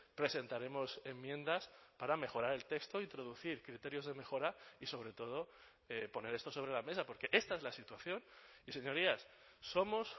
presentaremos enmiendas para mejorar el texto introducir criterios de mejora y sobre todo poner esto sobre la mesa porque esta es la situación y señorías somos